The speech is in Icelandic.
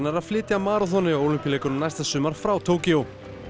að flytja maraþonið á Ólympíuleikunum næsta sumar frá Tókýó